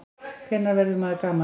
Hvenær verður maður gamall?